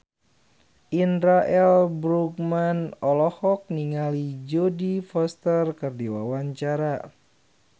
Indra L. Bruggman olohok ningali Jodie Foster keur diwawancara